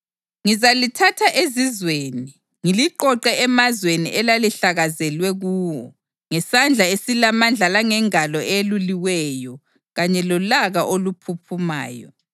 Ngizalithatha ezizweni ngiliqoqe emazweni elalihlakazelwe kuwo ngesandla esilamandla langengalo eyeluliweyo kanye lolaka oluphuphumayo.